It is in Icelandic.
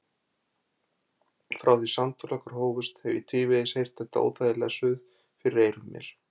Frá því samtöl okkar hófust hef ég tvívegis heyrt þetta óþægilega suð fyrir eyrum mér.